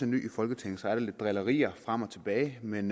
ny i folketinget er der lidt drillerier frem og tilbage men